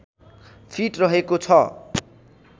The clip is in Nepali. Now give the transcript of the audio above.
फिट रहेको छ